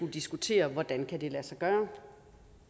diskutere hvordan det kan lade sig gøre